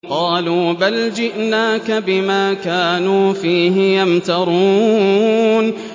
قَالُوا بَلْ جِئْنَاكَ بِمَا كَانُوا فِيهِ يَمْتَرُونَ